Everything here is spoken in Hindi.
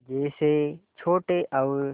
जैसे छोटे और